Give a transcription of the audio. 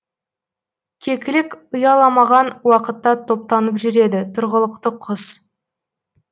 кекілік ұяламаған уақытта топтанып жүреді тұрғылықты құс